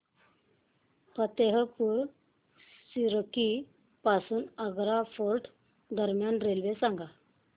फतेहपुर सीकरी पासून आग्रा फोर्ट दरम्यान रेल्वे सांगा